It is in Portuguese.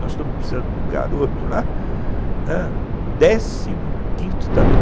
Nós estamos precisando de um garoto lá, décimo quinto ta